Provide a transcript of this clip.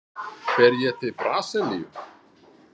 Fer ég til Brasilíu?